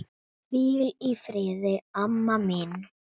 Hvíl í friði, amma mín.